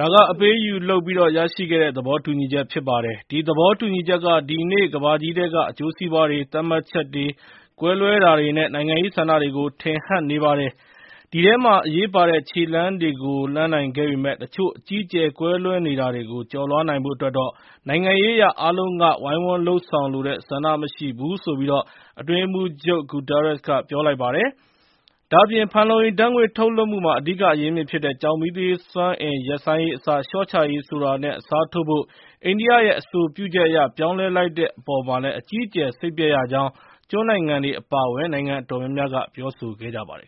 ဒါက အပေးအယူလုပ်ပြီး ရရှိခဲ့တဲ့ သဘောတူညီချက် ဖြစ်ပါတယ်။ ဒီသဘောတူညီချက်က ဒီကနေ့ ကမ္ဘာကြီးထဲက အကျိုးစီးပွားတွေ၊ သတ်မှတ်ချက်တွေ၊ ကွဲလွဲတာတွေနဲ့ နိုင်ငံရေးဆန္ဒတွေကို ထင်ဟပ်နေပါတယ်။ ဒီထဲမှာ အရေးပါတဲ့ ခြေလှမ်းတွေကို လှမ်းနိုင်ခဲ့ပေမယ့် တချို့ အကြီးအကျယ် ကွဲလွဲနေတာတွေကို ကျော်လွှားနိုင်ဖို့အတွက်တော့ နိုင်ငံရေးအရ အားလုံးက ဝိုင်းဝန်းလုပ်ဆောင်လိုတဲ့ ဆန္ဒ မရှိဘူးလို့” အတွင်းရေးမှူးချုပ် Guterres က ပြောလိုက်ပါတယ်။ ဒါပေမယ့် ဖန်လုံအိမ်ဓာတ်ငွေ့ ထုတ်လွှတ်မှုမှာ အဓိက အရင်းအမြစ်ဖြစ်တဲ့ ကျောက်မီးသွေးစွမ်းအင် ရပ်ဆိုင်းရေးအစား လျှော့ချရေးဆိုတာနဲ့ အစားထိုးဖို့ အိန္ဒိယရဲ့ အဆိုပြုချက်အရ ပြောင်းလဲလိုက်တာကို အကြီးအကျယ် စိတ်ပျက်ရကြောင်း ကျွန်းနိုင်ငံငယ်တွေ အပါအဝင် နိုင်ငံအတော်များများက ပြောဆိုကြပါတယ်